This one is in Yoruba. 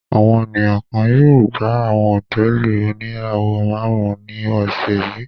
Àwọn ènìyàn kan yóò gba àwọn hòtẹ́ẹ́lì oníràwọ̀-márùn-ún ní ọ̀sẹ̀ yìí.